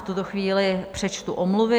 V tuto chvíli přečtu omluvy.